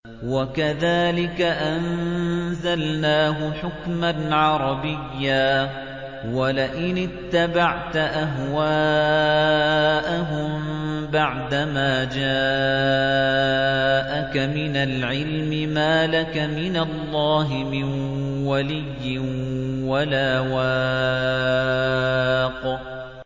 وَكَذَٰلِكَ أَنزَلْنَاهُ حُكْمًا عَرَبِيًّا ۚ وَلَئِنِ اتَّبَعْتَ أَهْوَاءَهُم بَعْدَمَا جَاءَكَ مِنَ الْعِلْمِ مَا لَكَ مِنَ اللَّهِ مِن وَلِيٍّ وَلَا وَاقٍ